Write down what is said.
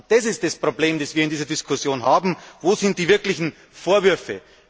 Das ist das Problem, das wir in dieser Diskussion haben Wo sind die wirklichen Vorwürfe?